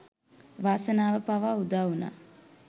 වාසනාව පවා උදාවුනා